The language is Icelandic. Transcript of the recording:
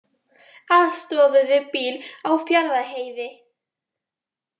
Aðstoðuðu bíl á Fjarðarheiði